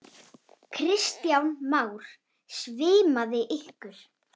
Kristján Már: Svimaði ykkur?